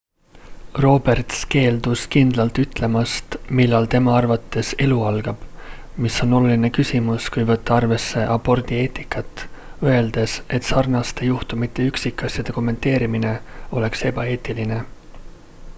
roberts keeldus kindlalt ütlemast millal tema arvates elu algab mis on oluline küsimus kui võtta arvesse abordi eetikat öeldes et sarnaste juhtumite üksikasjade kommenteerimine oleks ebaeetiline